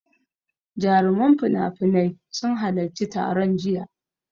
Jaruman finafinai sun halaccin taron jiya.